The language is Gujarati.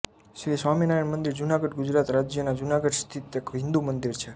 શ્રી સ્વામિનારાયણ મંદિર જુનાગઢ ગુજરાત રાજ્યના જુનાગઢ સ્થિત એક હિંદુ મંદિર છે